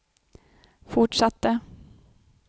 fortsatte